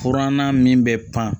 Kuranna min bɛ pan